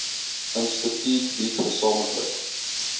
instituut bied gesamentlik